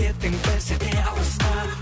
кеттің бір сәтке алысқа